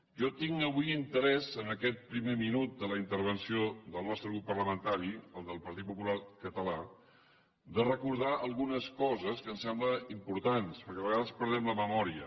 jo tinc avui interès en aquest primer minut de la intervenció del nostre grup parlamentari el del partit popular català de recordar algunes coses que em semblen importants perquè a vegades perdem la memòria